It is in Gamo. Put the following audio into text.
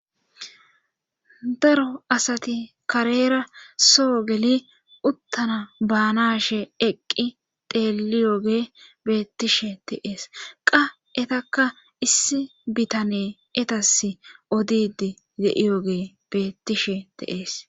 Daro asati kareera soo geli uttana baanashe eqqi teliyooge beettishe teees qa etakka issi bitane etas odid ye'yoge bettishe te'ees.